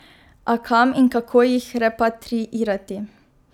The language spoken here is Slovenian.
A kam in kako jih repatriirati?